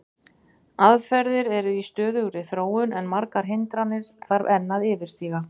Aðferðir eru í stöðugri þróun en margar hindranir þarf að enn yfirstíga.